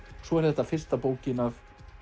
svo er þetta fyrsta bókin af